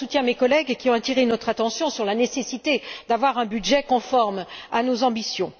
Je soutiens mes collègues qui ont attiré notre attention sur la nécessité d'avoir un budget conforme à nos ambitions.